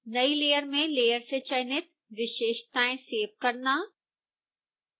नई layer में layer से चयनित विशेषताएं सेव करना